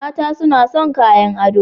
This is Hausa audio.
Mata suna son kayan ado